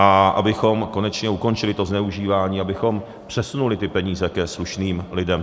A abychom konečně ukončili to zneužívání, abychom přesunuli ty peníze ke slušným lidem.